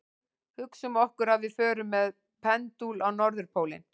Hugsum okkur að við förum með pendúl á norðurpólinn.